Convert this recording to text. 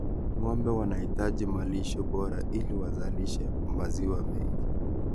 Ng�ombe wanahitaji malisho bora ili wazalishe maziwa mengi.